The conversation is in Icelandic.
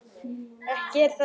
Þeir hafa reynst mjög vel.